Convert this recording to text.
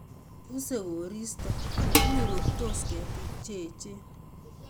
Usei koristo, inguruktos ketik che eechen